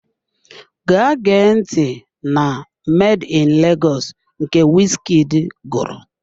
Gaa gee ntị na "Made in Lagos" nke wizkid gụrụ!